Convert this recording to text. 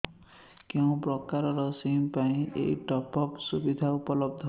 କେଉଁ ପ୍ରକାର ସିମ୍ ପାଇଁ ଏଇ ଟପ୍ଅପ୍ ସୁବିଧା ଉପଲବ୍ଧ